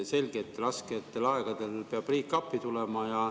Selge, et rasketel aegadel peab riik appi tulema.